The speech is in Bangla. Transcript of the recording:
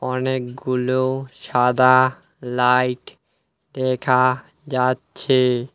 অনেকগুলো সাদা লাইট দেখা যাচ্ছে।